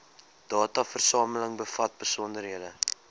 dataversameling bevat besonderhede